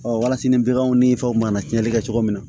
walasa ni baganw ni fɛnw mana cɛnli kɛ cogo min na